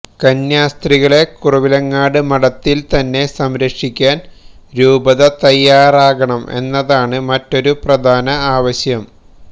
കന്യാസ്ത്രീകളെ കുറവിലങ്ങാട് മഠത്തില് തന്നെ സംരക്ഷിക്കാന് രൂപത തയ്യാറാകണം എന്നതാണ് മറ്റൊരു പ്രധാന ആവശ്യം